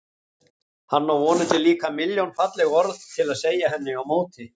Hann á vonandi líka milljón falleg orð til að segja henni á móti.